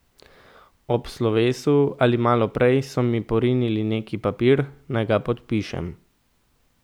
Ob slovesu ali malo prej so mi porinili neki papir, naj ga podpišem.